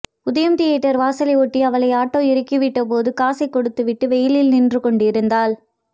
உதயம் தியேட்டர் வாசலை ஒட்டி அவளை ஆட்டோ இறக்கிவிட்டபோது காசை கொடுத்துவிட்டு வெயிலில் நின்று கொண்டிருந்தாள்